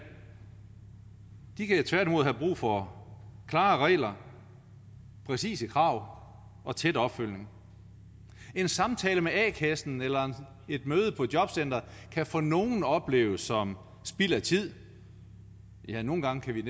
de kan tværtimod have brug for klare regler præcise krav og tæt opfølgning en samtale med a kassen eller et møde på jobcenteret kan for nogle opleves som spild af tid ja nogle gange er